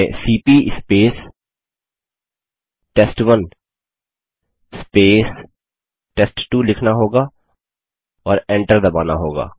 हमें cp test one test two लिखना होगा और एंटर दबाना होगा